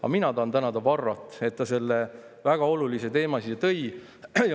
Aga mina tahan tänada Varrot, et ta selle väga olulise teema siia tõi.